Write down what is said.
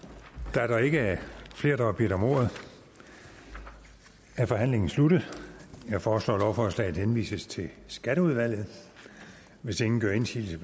da der ikke er flere der har bedt om ordet er forhandlingen sluttet jeg foreslår at lovforslaget henvises til skatteudvalget hvis ingen gør indsigelse